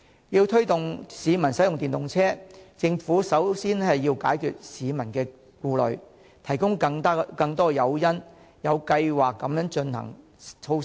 要推動市民使用電動車，政府首先要解決市民的顧慮，提供更多誘因並有計劃地落實措施。